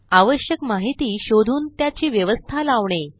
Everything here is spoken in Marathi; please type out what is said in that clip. आवश्यक माहिती शोधून त्याची व्यवस्था लावणे